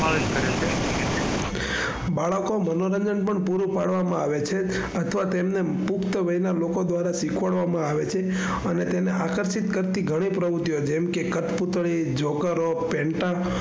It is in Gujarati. બાળકો મનોરંજન પણ પૂરું પાડવામાં આવે છે. અથવા તેને પુખ્ત વય ના લોકો દ્વારા શીખવાડવામાં આવે છે. અને તેને આકર્ષિત કરતી ગણી પ્રવુતિઓ જેમ કે કઠપૂતળી, જોકરો, પેન્ટા,